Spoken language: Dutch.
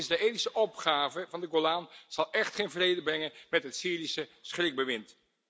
Want de Israëlische opgave van de Golan zal echt geen vrede brengen met het Syrische schrikbewind.